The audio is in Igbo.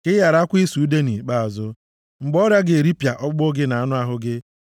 Ka ị gharakwa ịsụ ude nʼikpeazụ mgbe ọrịa ga-eripịa ọkpụkpụ gị na anụ ahụ gị.